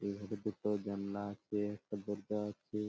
এ ঘরে দুটো জানলা আছে একটা দরজা আছে।